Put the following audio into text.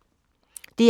DR1